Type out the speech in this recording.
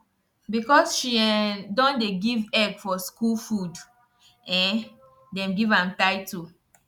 because she um don dey give egg for school food um dem give am title